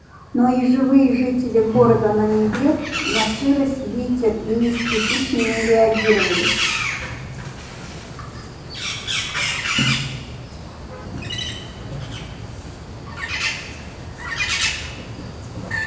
но и живые жители города на неве на сырость ветер и низкие тучи не реагировали